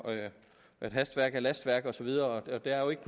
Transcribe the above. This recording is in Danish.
at hastværk er lastværk og så videre og der er jo ikke